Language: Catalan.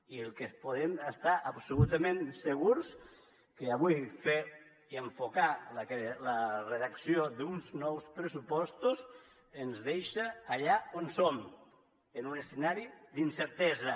i del que podem estar absolutament segurs és que avui fer i enfocar la redacció d’uns nous pressupostos ens deixa allà on som en un escenari d’incertesa